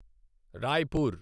Raipur